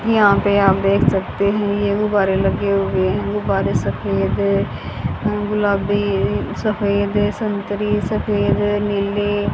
यहां पे आप देख सकते है ये गुब्बारे लगे हुए है गुब्बारे सफेद गुलाबी सफेद संतरी सफेद नीले --